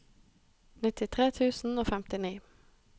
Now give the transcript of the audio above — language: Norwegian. nittitre tusen og femtini